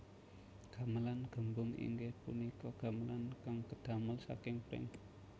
Gamelan gembung inggih punika gamelan kang kedamel saking pring